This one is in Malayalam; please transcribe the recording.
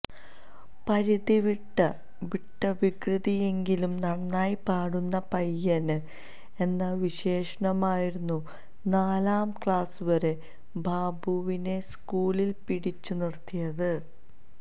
പരിധിവിട്ട വിട്ട വികൃതിയെങ്കിലും നന്നായി പാടുന്ന പയ്യന് എന്ന വിശേഷണമായിരുന്നു നാലാം ക്ലാസ് വരെ ബാബുവിനെ സ്കൂളില് പിടിച്ചുനിര്ത്തിയത്